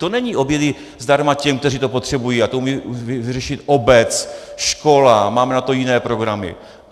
To není obědy zdarma těm, kteří to potřebují, a to umí vyřešit obec, škola, máme na to jiné programy.